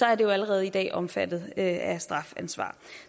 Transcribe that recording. er det jo allerede i dag omfattet af strafansvar